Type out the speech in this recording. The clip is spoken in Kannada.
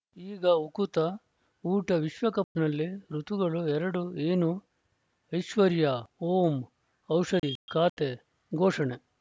ಈಗ ಉಕುತ ಊಟ ವಿಶ್ವಕಪ್‌ನಲ್ಲಿ ಋತುಗಳು ಎರಡು ಏನು ಐಶ್ವರ್ಯಾ ಓಂ ಔಷಧಿ ಖಾತೆ ಘೋಷಣೆ